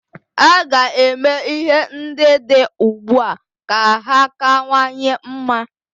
A ga-eme ihe ndị dị ugbua ka ha kawanye mma.